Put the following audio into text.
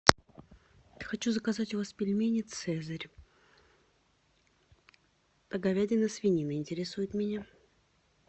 хочу заказать у вас пельмени цезарь говядина свинина интересует меня